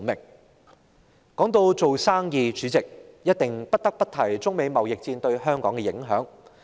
主席，說到做生意，我們不得不提中美貿易戰對香港的影響。